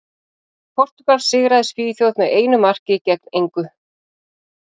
Portúgal sigraði Svíþjóð með einu marki gegn engu.